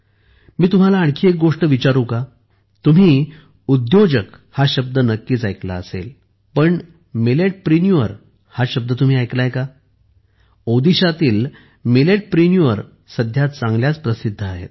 मी तुम्हाला आणखी एक गोष्ट विचारू का तुम्ही उद्योजक हा शब्द नक्कीच ऐकला असेल पण मिलेटप्रिन्युअर हा शब्द तुम्ही ऐकला आहे का ओदिशातील मिलेटप्रिन्युअर सध्या चांगल्याच प्रसिद्ध झाल्या आहेत